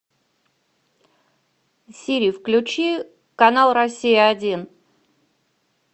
сири включи канал россия один